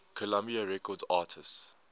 columbia records artists